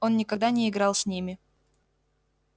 он никогда не играл с ними